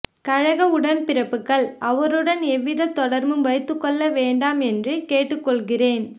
கழக உடன்பிறப்புகள் அவருடன் எவ்வித தொடர்பும் வைத்துக்கொள்ள வேண்டாம் என்று கேட்டுக்கொள்கிறேன்